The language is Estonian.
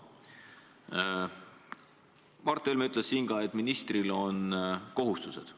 Mart Helme ütles siin ka, et ministril on kohustused.